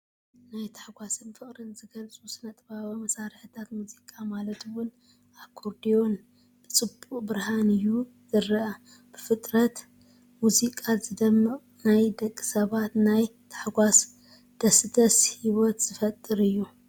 ናይ ታሕጓስን ፍቕርን ዝገልፁ ስነ ጥበባዊ መሳርሒታት ሙዚቃ ማለት ውን ኣኮርድዮን ብጽቡቕ ብርሃን እዩ ዝረአ። ብፍጥረት ሙዚቃ ዝደምቕናይ ደቂ ሰባት ናይ ታሕጓስን ደስደስን ሂወት ዝፈጥር አዩ።